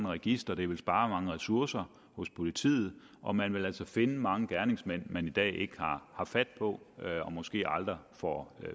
register det ville spare mange ressourcer hos politiet og man ville altså finde mange gerningsmænd man i dag ikke har fat på og måske aldrig får